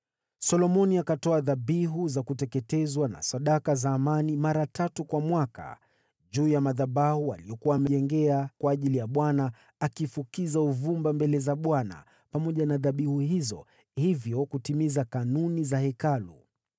Solomoni akatoa dhabihu za kuteketezwa na sadaka za amani mara tatu kwa mwaka, juu ya madhabahu aliyokuwa amejengea kwa ajili ya Bwana , akifukiza uvumba mbele za Bwana pamoja na dhabihu hizo, hivyo kutimiza kanuni za hekalu.